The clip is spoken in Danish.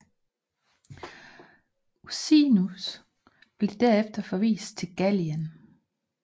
Ursinus blev derefter forvist til Gallien